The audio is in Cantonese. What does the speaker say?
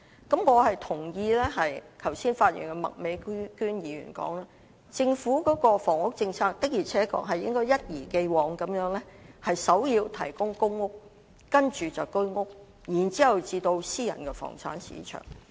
我認同意剛才發言的麥美娟議員的說法，政府的房屋政策的確應該一如既往地以提供公屋作為首要目標，接着是"居屋"，然後才到私人房產市場。